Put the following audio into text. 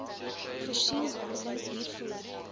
voorsien behandeling hiervoor